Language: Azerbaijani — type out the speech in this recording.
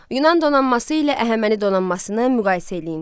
Yunan donanması ilə Əhəməni donanmasını müqayisə edin.